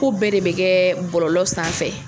Ko bɛɛ de bɛ kɛ bɔlɔlɔ sanfɛ